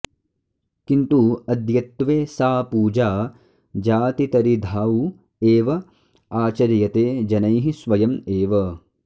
किन्तु अद्यत्वे सा पूजा जातितरिधाउ एव आचर्यते जनैः स्वयम् एव